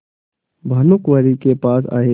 भानुकुँवरि के पास आये